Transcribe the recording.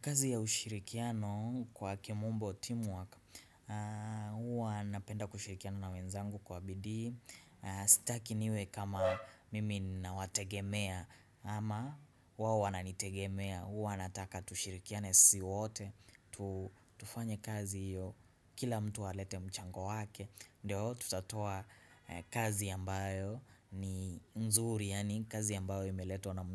Kazi ya ushirikiano kwa kimombo teamwork, huwa napenda kushirikiana na wenzangu kwa bidii. Sitaki niwe kama mimi nawategemea ama wao wananitegemea, huwa nataka tushirikiane sisi wote tu. Tufanye kazi hiyo kila mtu alete mchango wake. Ndio, tutatoa kazi ambayo ni mzuri, yaani kazi ambayo imeletwa na